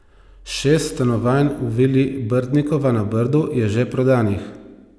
Šest stanovanj v vili Brdnikova na Brdu je že prodanih.